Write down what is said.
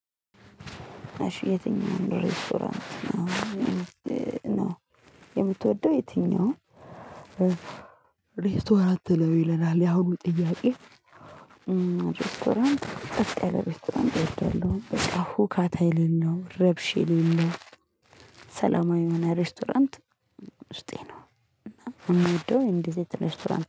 እሺ የትኛውን ሬስቶራንት ነው የምትወደው? የትኛውን ሬስቶራንት ነው ይለናል ያሁኑ ጥያቄ ሬስቶራንት ጸጥ ሬስቶራንት እወዳለሁ በቃ ሁካታ የለለው ረብሽ የለለው ሰላማዊ የሆነ ሬስቶራንት ውስጤ ነው እና የምወደው እንደዚህ አይነት ሬስቶራንት ነው